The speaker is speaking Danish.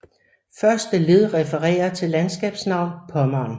Første led refererer til landskabsnavn Pommern